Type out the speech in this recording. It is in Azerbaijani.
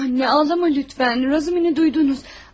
Ana, Razumi, lütfən, Razumini eşitdiniz?